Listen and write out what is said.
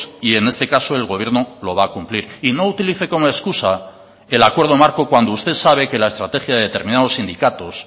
y en este caso el gobierno lo va a cumplir y no utilice como excusa el acuerdo marco cuando usted sabe que la estrategia de determinados sindicatos